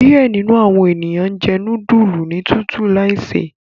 Diẹ ninu awọn eniyan njẹ nudulu ni tutu laise